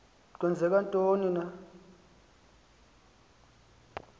kwenzeka ntoni na